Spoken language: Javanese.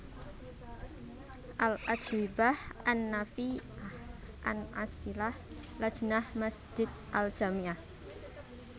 Al Ajwibah an Nafi ah An As ilah Lajnah Masjid al Jami ah